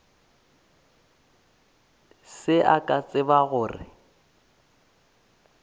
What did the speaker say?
se ke a tseba gore